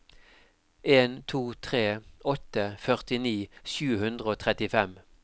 en to tre åtte førtini sju hundre og trettifem